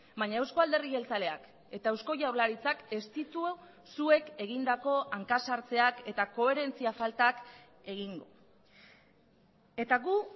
baina euzko alderdi jeltzaleak eta eusko jaurlaritzak ez ditu zuek egindako hanka sartzeak eta koherentzia faltak egin eta gu